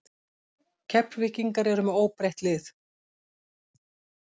Keflvíkingar eru með óbreytt lið.